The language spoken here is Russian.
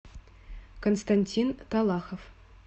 константин талахов